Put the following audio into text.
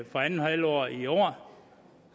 andet halvår i år